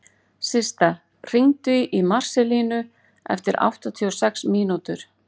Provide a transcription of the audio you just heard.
Systa, hringdu í Marselínu eftir áttatíu og sex mínútur.